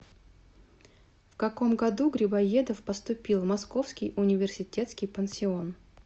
в каком году грибоедов поступил в московский университетский пансион